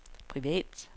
privat